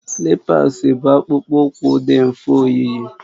Slipas bụ akpụkpọ ụkwụ dị mfe oyiyi